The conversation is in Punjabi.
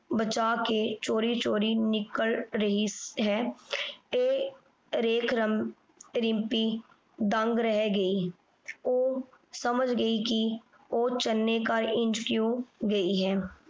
ਬਚਾ ਕੇ ਚੋਰੀ ਚੋਰੀ ਘਰੋਂ ਨਿਕਲ ਰਹੀ ਹੈ। ਇਹ ਦੇਖ ਰਿੰਪੀ ਦੰਗ ਰਹਿ ਗਈ। ਉਹ ਸਮਝ ਗਈ ਕਿ ਉਹ ਚੰਨੇ ਘਰ ਇੰਝ ਕਿਉਂ ਗਈ ਹੈ।